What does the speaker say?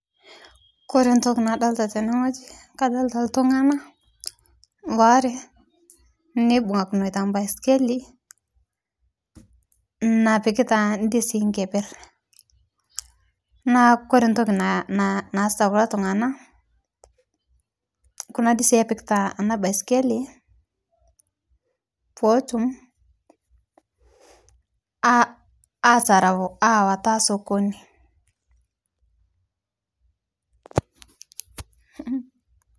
Kore ntoki nadolita tene ng'oji kadolita ltung'ana waare neibungakinoita mpaskili napikitaa ndizii nkeper naa kore ntokii naasita kuloo tung'ana kuna dizii epikitaa anaa baiskelii pootum atarau awataa sokonii.